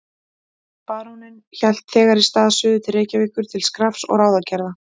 Baróninn hélt þegar í stað suður til Reykjavíkur til skrafs og ráðagerða.